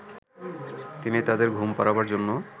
তিনি তাদের ঘুম পড়াবার জন্য